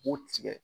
K'u tigɛ